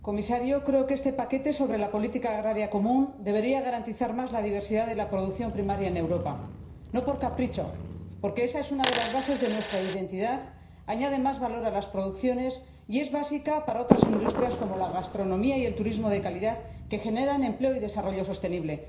Comisario, creo que este paquete sobre la política agraria común debería garantizar más la diversidad de la producción primaria en Europa, no por capricho sino porque esa es una de las bases de nuestra identidad, añade más valor a las producciones y es básica para otras industrias como la gastronomía y el turismo de calidad, que generan empleo y desarrollo sostenible.